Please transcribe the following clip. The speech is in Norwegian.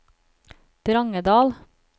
Drangedal